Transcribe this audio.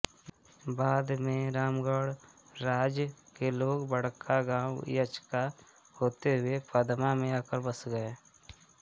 बाद में रामगढ़ राज के लोग बड़कागांव इचाक होते हुए पदमा में आकर बस गए